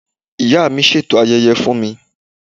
Màmá mi ṣètò ayẹyẹ fún mi